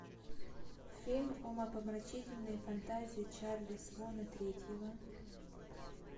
фильм умопомрачительные фантазии чарли свона третьего